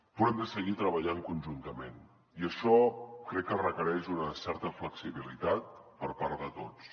però hem de seguir treballant conjuntament i això crec que requereix una certa flexibilitat per part de tots